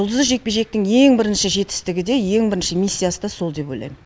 жұлдызды жекпе жектің ең бірінші жетістігі де ең бірінші миссиясы да сол деп ойлаймын